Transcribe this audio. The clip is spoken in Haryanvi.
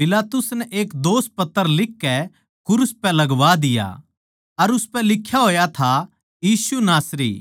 पिलातुस नै एक दोषपत्र लिखकै क्रूस पै लगवा दिया अर उसपै लिख्या होया था यीशु नासरी